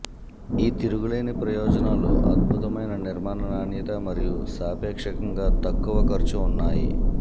ఈ తిరుగులేని ప్రయోజనాలు అద్భుతమైన నిర్మాణ నాణ్యత మరియు సాపేక్షంగా తక్కువ ఖర్చు ఉన్నాయి